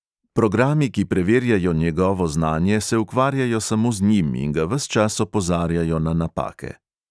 Programi, ki preverjajo njegovo znanje, se ukvarjajo samo z njim in ga ves čas opozarjajo na napake.